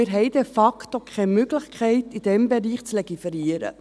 Wir haben de facto keine Möglichkeit, in diesem Bereich zu legiferieren.